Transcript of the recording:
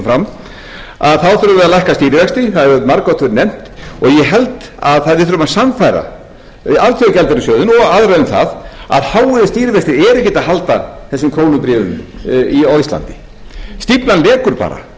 við að lækka stýrivexti það hefur margoft verið nefnt ég held að við þurfum að sannfæra alþjóðagjaldeyrissjóðinn og aðra um það að háir stýrivextir eru ekki að halda þessum krónubréfum á íslandi stíflan vekur bara